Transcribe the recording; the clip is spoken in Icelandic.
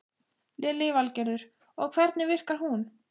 Lillý Valgerður: Og hvernig virkar hún?